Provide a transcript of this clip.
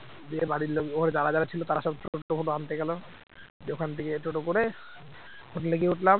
দিয়ে বাড়ির লোক ওখানে যারা যারা ছিল তারা সব টোটো ফোটো আনতে গেল, দিয়ে ওখান থেকে টোটো করে হোটেলে গিয়ে উঠলাম